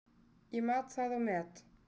Ég mat það og met.